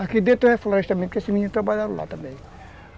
Aqui dentro é o reflorestamento, porque esses meninos trabalharam lá também.